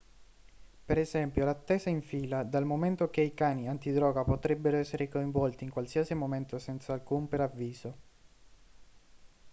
per esempio l'attesa in fila dal momento che i cani antidroga potrebbero essere coinvolti in qualsiasi momento senza alcun preavviso